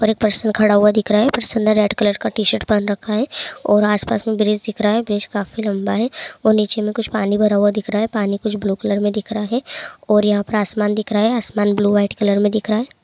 पर एक पर्सन खड़ा हुआ दिख रहा है पर्सन ने रेड कलर का टी-शर्ट पहन रखा है और आस-पास में ब्रिज दिख रहा है ब्रिज काफी लम्बा है और नीचे में कुछ पानी भरा हुआ दिख रहा है पानी के जो ब्लू कलर में दिख रहा है और यहाँ पर आसमान दिख रहा है आसमान ब्लू वाइट कलर में दिख रहा है।